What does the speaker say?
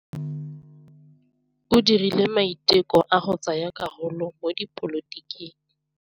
O dirile maitekô a go tsaya karolo mo dipolotiking.